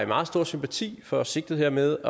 meget stor sympati for sigtet med